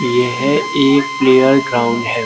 यह एक player ground है।